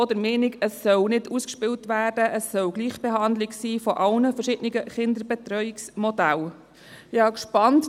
Wir sind auch der Meinung, dies solle nicht gegeneinander ausgespielt werden, sondern es solle eine Gleichbehandlung von all den verschiedenen Kinderbetreuungsmodellen geben.